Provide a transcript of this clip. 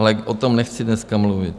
Ale o tom nechci dneska mluvit.